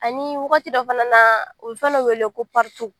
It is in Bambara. Ani wagati dɔ fana na u bɛ fɛn dɔ wele ko